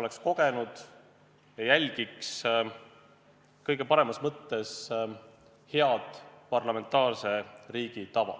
oleks kogenud ja jälgiks kõige paremas mõttes head parlamentaarse riigi tava.